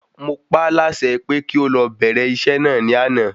Mọ pá la ṣe pé kí o lọ bẹ̀rẹ̀ isẹ́ ni àná